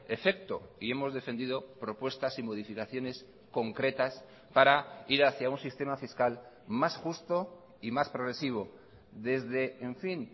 efecto y hemos defendido propuestas y modificaciones concretas para ir hacía un sistema fiscal más justo y más progresivo desde en fin